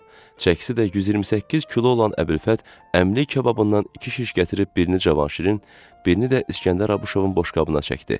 çəkisi də 128 kilo olan Əbülfət əmlik kababından iki şiş gətirib birini Cavanşirin, birini də İskəndər Abışovun boşqabına çəkdi.